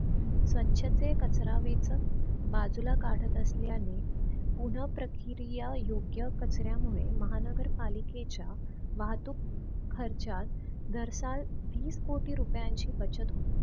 स्वछ ते कचरा वेचक बाजूला काढत असल्याने पुनः प्रक्रिया योग्य कचऱ्यामुळे महानगर पालिकेच्या वाहतूक खर्चा दर साल वीस कोटी रुपयांची बचत होते.